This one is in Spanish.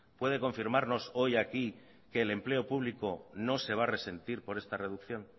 puede confirmarnos hoy aquí que el empleo público no se va a resentir por esta reducción